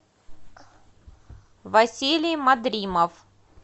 василий мадримов